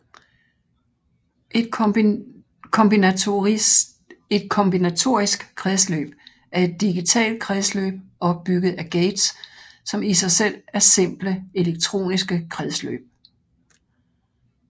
Et kombinatorisk kredsløb er et digitalt kredsløb opbygget af gates som i sig selv er simple elektroniske kredsløb